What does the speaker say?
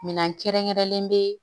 Minɛn kɛrɛnkɛrɛnlen bɛ